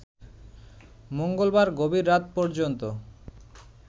মঙ্গলবার গভীর রাত পর্যন্ত